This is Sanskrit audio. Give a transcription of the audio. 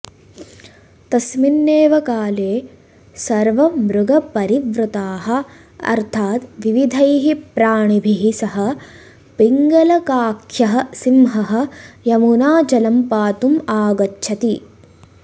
तस्मिन्नेव काले सर्वमृगपरिवृतः अर्थात् विविधैः प्राणिभिः सह पिङ्गलकाख्यः सिंहः यमुनाजलं पातुम् आगच्छति